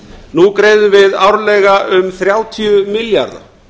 nú greiðum við árlega um þrjátíu milljarða